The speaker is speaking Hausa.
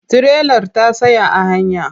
Tirelar ta tsaya a hanya.